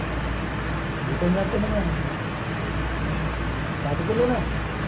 भेटून जाते ना मंग साठ किलोनं